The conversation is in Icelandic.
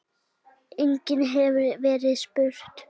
Einnig hefur verið spurt